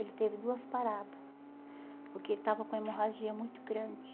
Ele teve duas parada, porque ele estava com hemorragia muito grande.